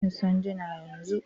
Ka ba ni sanduna yanzu!